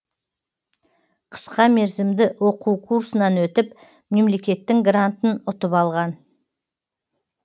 қысқа мерзімді оқу курсынан өтіп мемлекеттің грантын ұтып алған